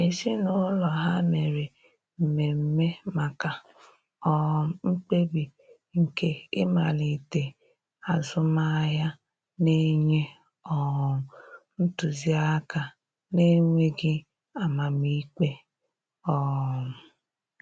Ezinụlọ ha mere mmeme maka um mkpebi nke ịmalite azụmahịa, na-enye um ntụzi aka na-enweghi amam ikpe um.